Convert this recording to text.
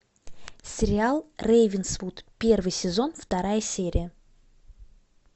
сериал рейвенсвуд первый сезон вторая серия